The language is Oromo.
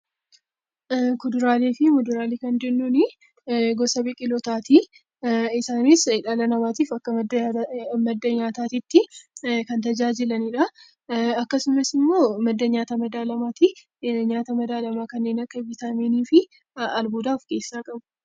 Kuduraalee fi muduraalee kan jennuun gosa biqilootaati. Isaanis dhala namaatiif akka madda nyaataatti kan tajaajilanidha. Akkasumas immoo madda nyaata madaalamaati. Nyaata madaalamaa kanneen akka vitaaminii fi albuudaa of keessaa qabu.